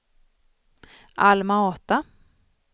Alma-Ata